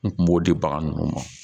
N kun b'o di bagan nunnu ma